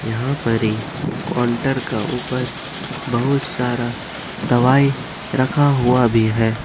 यहां पारी काउंटर के ऊपर बहुत सारा दवाई रखा हुआ है।